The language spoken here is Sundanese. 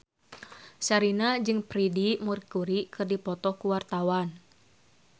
Sherina jeung Freedie Mercury keur dipoto ku wartawan